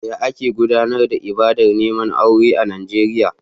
Yaya ake gudanar da ibadar neman aure a Najeriya a baya?